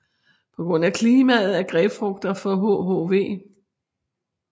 På grund af klimaet er grapefrugter fra hhv